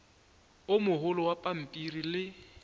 o mogolo wa pampiri le